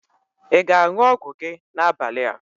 Ị ga-aṅụ ọgwụ gị n'abalị?